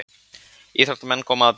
Íþróttamenn koma að byggingunni.